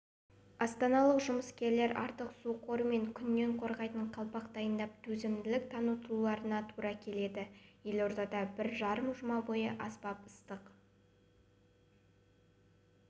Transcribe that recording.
астаналық жұмыскерлер артық су қоры мен күннен қорғайтын қалпақ дайындап төзімділік танытуларына тура келеді елордада бір жарым жұма бойы аспап ыстық